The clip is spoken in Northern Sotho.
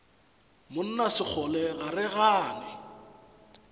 monna sekgole ga re gane